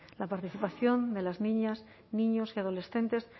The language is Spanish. la participación de las niñas niños y adolescentes